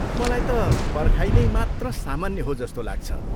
मलाई त पर्खाइ नै मात्र सामान्य हो जस्तो लाग्छ ।